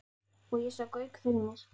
Og ég sá Gauk fyrir mér.